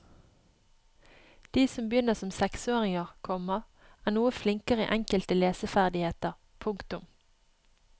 De som begynner som seksåringer, komma er noe flinkere i enkelte leseferdigheter. punktum